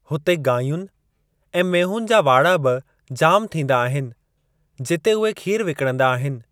हुते गांयुनि ऐं मेंहुनि जा वाड़ा बि जाम थींदा आहिनि जिते उहे खीर विकणंदा आहिनि।